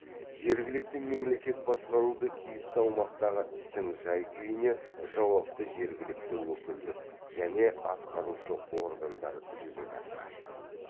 жергілікті мемлекет басқаруды тиісті аумақтағы істің жай күйіне жауапты жергілікті өкілдік және атқарушы органдар жүзеге асырады